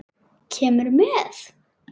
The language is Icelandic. Kemurðu með?